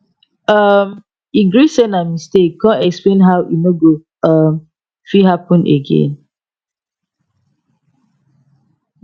um e gree say na mistake con explain how e no go um fit happen again